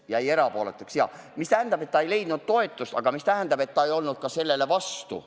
Jäi erapooletuks, jah, mis tähendab, et ta küll ei toetanud seda, aga ei olnud ka sellele vastu.